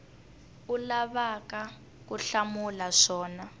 u lavaka ku hlamula swona